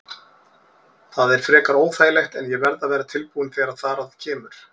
Það er frekar óþægilegt en ég verð að vera tilbúinn þegar þar að kemur.